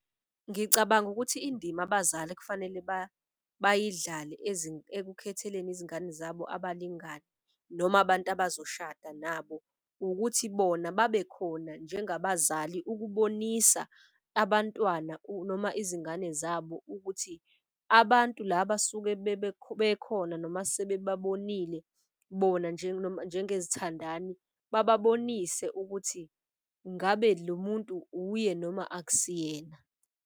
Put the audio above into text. Ngicabanga ukuthi indima abazali ekufanele bayidlale ekukhetheleni izingane zabo abalingani noma abantu abazoshada nabo. Ukuthi bona babe khona njengabazali ukubonisa abantwana noma izingane zabo. Ukuthi abantu laba bekhona noma sebebabonile bona njengezithandani. Bababonise ukuthi ngabe lo muntu uye noma akusiyena.